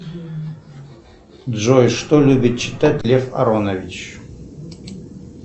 джой что любит читать лев аронович